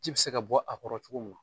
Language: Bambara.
Ji bi se ka bɔ a kɔrɔ cogo min na.